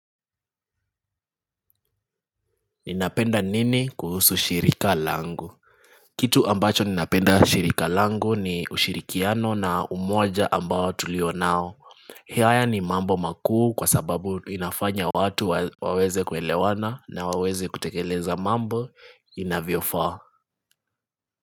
Ninapenda nini kuhusu shirika langu Kitu ambacho ninapenda shirika langu ni ushirikiano na umoja ambao tulio nao haya ni mambo makuu kwa sababu inafanya watu waweze kuelewana na waweze kutekeleza mambo inavyofaa.